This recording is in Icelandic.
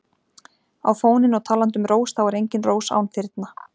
á fóninn og talandi um rós þá er engin rós án þyrna.